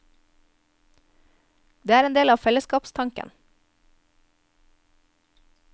Det er en del av fellesskapstanken.